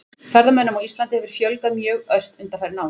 Ferðamönnum á Íslandi hefur fjölgað mjög ört undanfarin ár.